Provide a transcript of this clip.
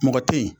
Mɔgɔ tɛ ye